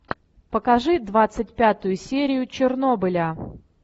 покажи двадцать пятую серию чернобыля